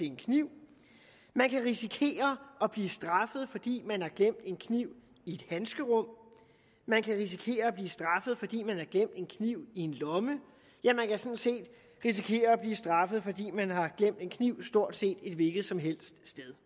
en kniv man kan risikere at blive straffet fordi man har glemt en kniv i et handskerum man kan risikere at blive straffet fordi man har glemt en kniv i en lomme ja man kan sådan set risikere at blive straffet fordi man har glemt en kniv stort set et hvilket som helst sted